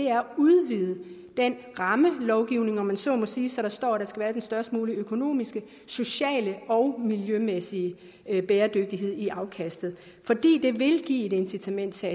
er at udvide den rammelovgivning om man så må sige så der står at der skal være den størst mulige økonomiske sociale og miljømæssige bæredygtighed i afkastet fordi det vil give et incitament til